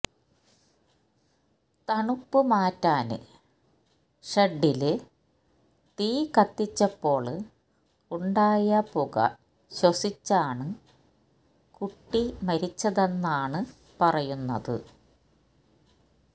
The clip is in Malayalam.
തണുപ്പുമാറ്റാന് ഷെഡ്ഡില് തീകത്തിച്ചപ്പോള് ഉണ്ടായ പുക ശ്വസിച്ചാണ് കുട്ടി മരിച്ചതെന്നാണ് പറയുന്നത്